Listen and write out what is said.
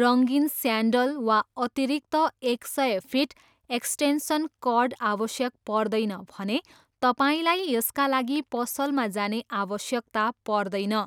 रङ्गीन स्यान्डल, वा अतिरिक्त एक सय फिट एक्स्टेन्सन कर्ड आवश्यक पर्दैन भने, तपाईँलाई यसका लागि पसलमा जाने आवश्यकता पर्दैन।